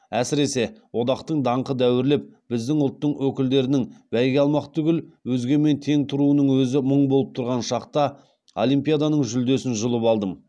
әсіресе одақтың даңқы дәуірлеп біздің ұлттың өкілдерінің бәйге алмақ түгіл өзгемен тең тұруының өзі мұң болып тұрған шақта олимпиаданың жүлдесін жұлып алдым